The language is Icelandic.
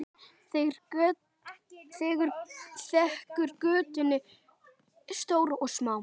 Þekur götin stór og smá.